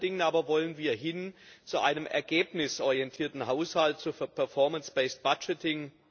Vor allen Dingen aber wollen wir hin zu einem ergebnisorientierten Haushalt, zu performance based budgeting